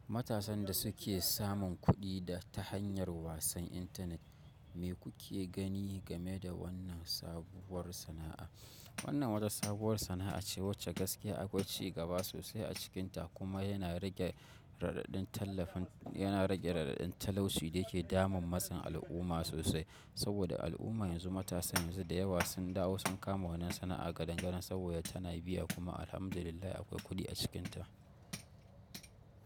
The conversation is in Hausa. Matasan dasuke samun kudi ta hanyar wasan internet mikuke gani gane da wannan sabuwar sana a. Wannan wata sabuwar sana'a ce wacce gaskiya akwai ci gaba sosai a cikinta kuma yana rage radadin tallafin, yana rage radadin talauci da yake damun matsin al'umma sosai. Saboda al'umma yanzu matasa yanzu da yawa sun dawo sun kama wannan sana'a gadangadan saboda tana biya kuma alhamdulillah akwai kuɗi a cikinta.